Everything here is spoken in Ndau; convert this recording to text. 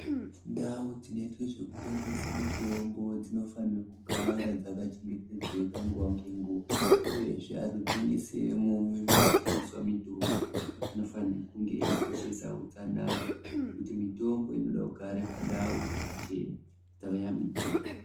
Ndau dzinoitwe zvekutengeswe mitombo dzinofanire kugare dzakachengetedzeka nguva nenguva uyezve vanotengeswemo munotengeswa mutombo vanofane kunge veikoshesa utsanana nekuti mitombo inode kugara pandau dzakachena dzakashambidzika .